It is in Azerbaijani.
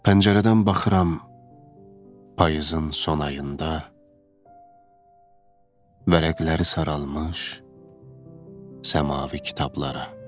Pəncərədən baxıram, payızın son ayında, vərəqləri saralmış səmafi kitablara.